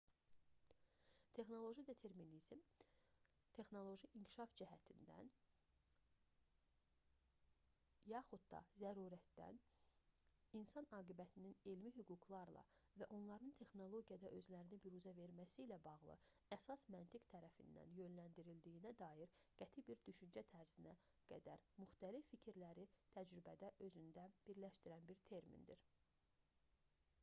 texnoloji determinizm texnoloji inkişaf cəhdindən yaxud da zərurətdən insan aqibətinin elmi hüquqlarla və onların texnologiyada özlərini büruzə verməsi ilə bağlı əsas məntiq tərəfindən yönləndirildiyinə dair qəti bir düşüncə tərzinə qədər müxtəlif fikirləri təcrübədə özündə birləşdirən bir termindir